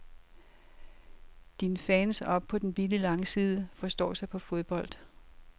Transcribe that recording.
Dine fans oppe på den billige langside forstår sig på fodbold.